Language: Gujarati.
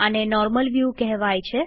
આને નોર્મલ વ્યુ કેહવાય છે